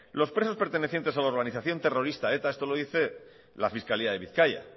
los presos pertenecientes a la organización terrorista eta esto lo dice la fiscalía de bizkaia